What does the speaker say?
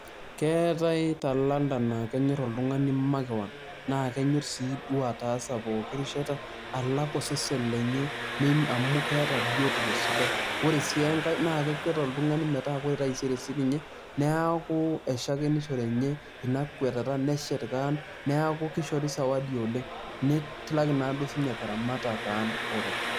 Keetae talanta naa kenyor oltungani makewon naa kenyor sii duoo ataasa pooki rishata alak osesen lenye amukeeta biotisho sidai . Ore sii enkae naa kekwet oltungani metaa ore taisere enye neaku eshakinishore enye ina kwetata , neshet kewon , niaku kishhori sawadi oleng.